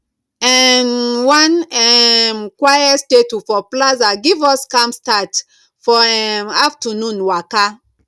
um one um quiet statue for plaza give us calm start for um afternoon waka